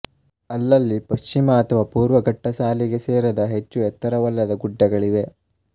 ಅಲ್ಲಲ್ಲಿ ಪಶ್ಚಿಮ ಅಥವಾ ಪೂರ್ವ ಘಟ್ಟಸಾಲಿಗೆ ಸೇರದ ಹೆಚ್ಚು ಎತ್ತರವಲ್ಲದ ಗುಡ್ಡಗಳಿವೆ